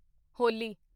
ਹੋਲੀ